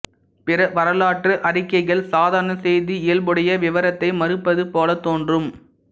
பிற வரலாற்று அறிக்கைகள் சாதாரணச்செய்தி இயல்புடைய விவரத்தை மறுப்பது போலத் தோன்றும்